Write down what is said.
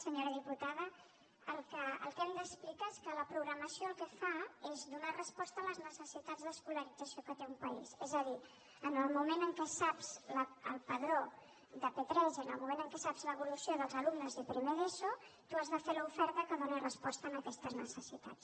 senyora diputada el que hem d’explicar és que la programació el que fa és donar resposta a les necessitats d’escolarització que té un país és a dir en el moment en què saps el padró de p3 i en el moment en què saps l’evolució dels alumnes de primer d’eso tu has de fer l’oferta que doni resposta a aquestes necessitats